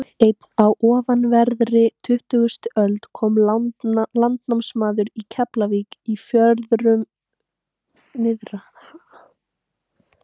Dag einn á ofanverðri tuttugustu öld kom landnámsmaður í Keflavík í Fjörðum nyrðra.